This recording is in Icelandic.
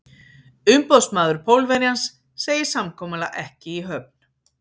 Umboðsmaður Pólverjans segir samkomulag ekki í höfn.